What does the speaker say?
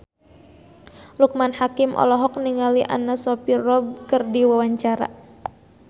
Loekman Hakim olohok ningali Anna Sophia Robb keur diwawancara